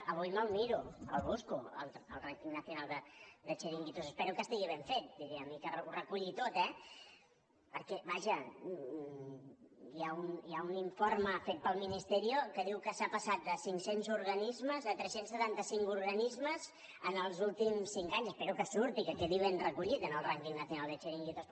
avui me’l miro el busco el pero que estigui ben fet diríem i que ho reculli tot eh perquè vaja hi ha un informe fet pel ministerio que diu que s’ha passat de cinc cents organismes a tres cents i setanta cinc organismes en els últims cinc anys espero que surti que quedi ben recollit en el ranking nacional de chiringuitos